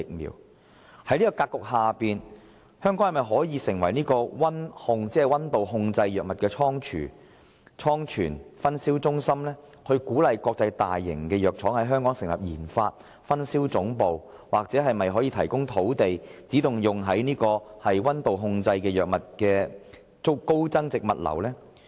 有鑒於此，政府會否考慮把香港打造成為溫度控制藥物的倉存/分銷中心，並鼓勵國際大型藥廠在香港成立研發及分銷總部？又或政府可否提供土地，以發展專為溫控藥物而設的高增值物流服務？